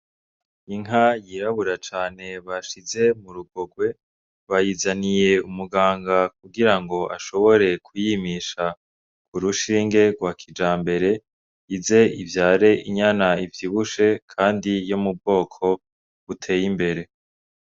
Inka yirabura cane bashize mu rugogwe bayizaniye umuganga kugirango ashobore kuyimisha urushinge rwa kijambere ize ivyare inyana ivyibushe kandi yo mu bwoko buteye imbere.